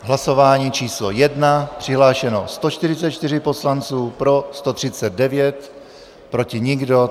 Hlasování číslo 1, přihlášeno 144 poslanců, pro 139, proti nikdo.